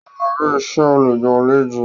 Ó máa rí isẹ́ olùgbàlejò